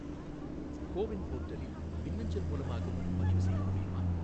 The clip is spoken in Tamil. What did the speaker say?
கோ வின் போர்ட்டலில் மின்னஞ்சல் மூலமாகவும் பதிவுசெய்ய முடியுமா?